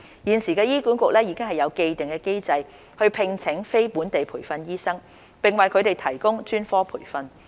現時醫管局已有既定機制聘請非本地培訓醫生，並為他們提供專科培訓。